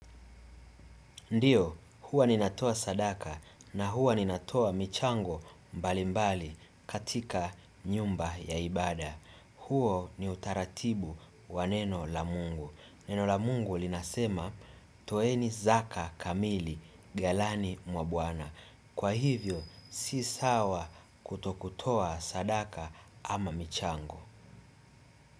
Ndiyo, huwa ninatoa sadaka na huwa ninatoa michango mbalimbali katika nyumba ya ibada. Huo ni utaratibu wa neno la mungu. Neno la mungu linasema, toeni zaka kamili, galani mwa bwana. Kwa hivyo, si sawa kutokutoa sadaka ama michango.